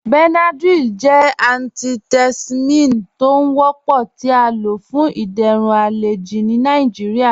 Benadryl jẹ antihistamine tó ń wọ́pọ̀ tí à ló fún ìdérún alẹjì ní Nàìjíríà.